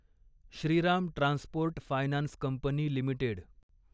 Shriram transport finance company limited